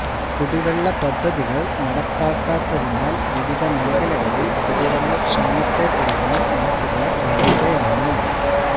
കുടിവെള്ള പദ്ധതികള് നടപ്പാക്കാത്തതിനാല് വിവിധ മേഖലകളില് കുടിവെള്ളക്ഷാമത്തെ തുടര്ന്ന് നാട്ടുകാര് വലയുകയാണ്